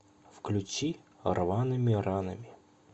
включи рваными ранами